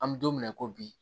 An bɛ don min na i ko bi